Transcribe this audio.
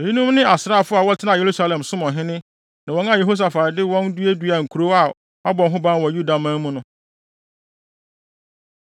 Eyinom ne asraafodɔm a wɔtenaa Yerusalem som ɔhene, ne wɔn a Yehosafat de wɔn duaduaa nkurow a wɔabɔ ho ban wɔ Yudaman mu no.